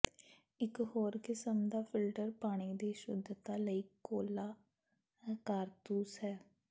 ਇਕ ਹੋਰ ਕਿਸਮ ਦਾ ਫਿਲਟਰ ਪਾਣੀ ਦੀ ਸ਼ੁੱਧਤਾ ਲਈ ਕੋਲਾ ਕਾਰਤੂਸ ਹੈ